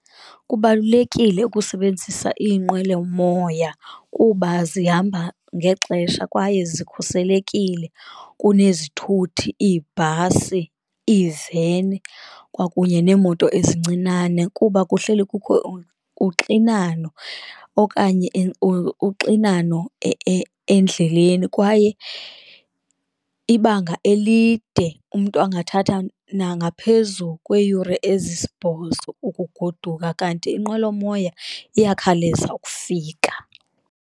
Kubalulekile ukusebenzisa iinqwelomoya kuba zihamba ngexesha kwaye zikhuselekile kunezithuthi, iibhasi, iiveni kwakunye neemoto ezincinane. Kuba kuhleli kukho uxinano okanye uxinano endleleni kwaye ibanga elide umntu angathatha nangaphezu kweeyure ezisibhozo ukugoduka. Kanti inqwelomoya iyakhawuleza ukufika.